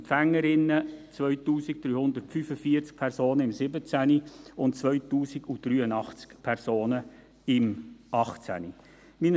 Die Empfängerinnen und Empfänger: 2345 Personen im 2017 und 2083 Personen im 2018.